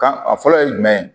Kan a fɔlɔ ye jumɛn ye